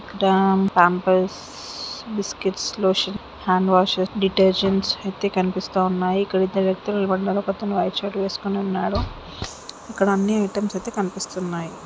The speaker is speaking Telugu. ఇక్కడ Pampers biscuits lotions hand washes detergents అయితే కనిపిస్తున్నాయి ఇక్కడ ఇద్దరు వ్యక్తులు నిలబడి ఉన్నారు ఒకతను వైట్ షర్ట్ వేసుకుని ఉన్నాడు ఇక్కడ అన్నీ ఐటమ్స్ అయితే కనిపిస్తున్నాయి